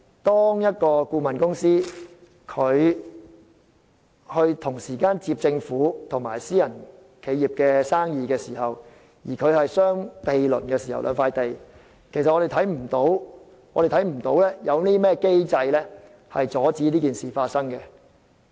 當一間顧問公司同時承接了政府和私人企業的生意，而涉及的兩個項目又相毗鄰時，現時並無任何機制阻止同類事件發生。